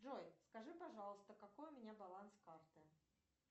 джой скажи пожалуйста какой у меня баланс карты